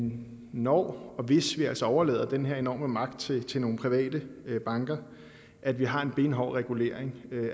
når og hvis vi altså overlader den her enorme magt til til nogle private banker at vi har en benhård regulering